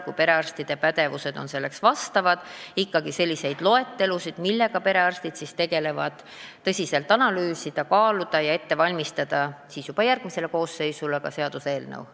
Kui perearstide pädevus on selleks sobiv, siis tuleks tõsiselt analüüsida ja kaaluda selliseid loetelusid, mis on see, millega perearstid peaksid tegelema, ja juba järgmisele Riigikogu koosseisule tuleks ette valmistada ka seaduseelnõu.